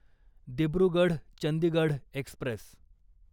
Dibrugarh Chandigarh Express